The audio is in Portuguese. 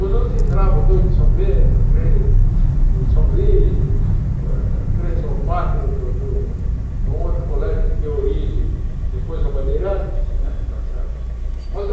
Os outros entravam, dois de São Bento, três do São Luís, e três ou quatro do do de um outro colégio que deu origem, depois ao Bandeirantes, né tá certo mas o